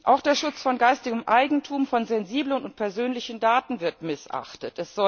Auch der Schutz von geistigem Eigentum, von sensiblen und persönlichen Daten wird missachtet.